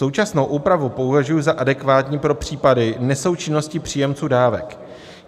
Současnou úpravu považuji za adekvátní pro případy nesoučinnosti příjemců dávek.